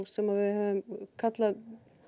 sem við höfum kallað